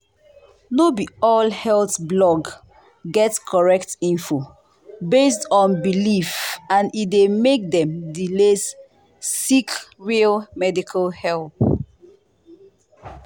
no be all health blog get correct info based on belief and e dey make dem delay seek real medical help.